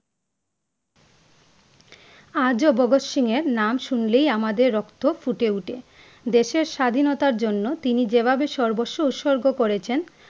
আজ ও ভাগত সিংহের নাম শুনলেই আমাদের রক্ত ফুটে উঠে । দেশের স্বাধীনতার জন্য তিনি যে ভাবে সর্বস্ব উৎসর্গ করেছেন ।